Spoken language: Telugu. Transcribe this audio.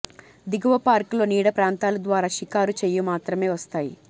దిగువ పార్క్ లో నీడ ప్రాంతాలు ద్వారా షికారు చేయు మాత్రమే వస్తాయి